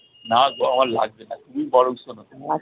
না গো আমার লাগবে না, তুমি বরং শোনো